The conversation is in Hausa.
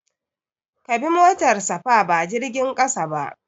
Ka bi motar safa ba jirgin ƙasa ba.